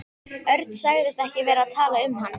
Örn sagðist ekki vera að tala um hann.